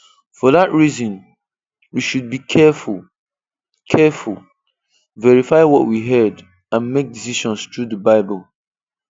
For that reason, we should be careful, careful, verify what we heard, and make decisions through the Bible.